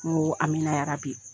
Awoo amina yarabi